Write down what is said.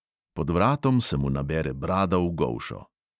Pod vratom se mu nabere brada v golšo.